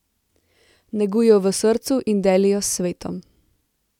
Neguj jo v srcu in deli jo s svetom.